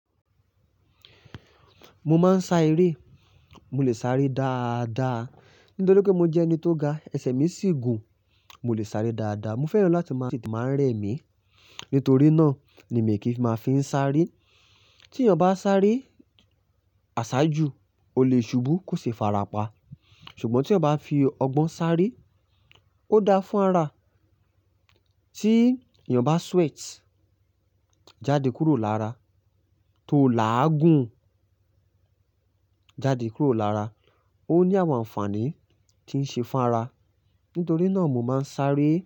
Mo máa ń sá eré. Mo lè sáré dáadáa nítorí pé mo jẹ́ ẹni tó ga, ẹsẹ̀ mi sì gùn. Mo lè sáré dáadáa. Mo fẹ́ran láti máa ṣèètì máa ń rẹ mi. Nítorí náà ni mi kì í máa fi ń sáré. Tí èèyàn bá sáré àsáájú, ó lè ṣubú, kò ṣe é fara pa. Ṣùgbọ́n tí ẹ bá fi ọgbọ́n sáré, ó dáa fún ara. Tí èèyàn bá sweat, jáde kúrò lára, tó là á gùn, jáde kúrò lára. Ó ní àwọn àǹfààní tí ń ṣe fún ara. Nítorí náà mo máa ń sáré.